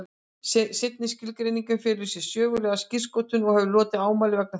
Seinni skilgreiningin felur í sér sögulega skírskotun og hefur hlotið ámæli vegna þess.